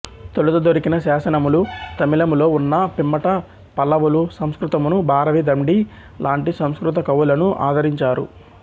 తొలుత దొరికిన శాసనములు తమిళములో ఉన్నా పిమ్మట పల్లవులు సంస్కృతమును భారవి దండి లాంటి సంస్కృత కవులను ఆదరించారు